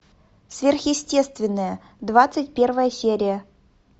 сверхъестественное двадцать первая серия